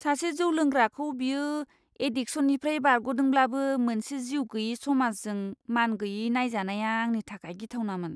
सासे जौ लोंग्राखौ बियो एड्डिकसननिफ्राय बारग'दोंब्लाबो मोनसे जिउ गैयै समाजजों मानगैयै नायजानाया आंनि थाखाय गिथावनामोन!